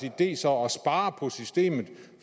idé så at spare på systemet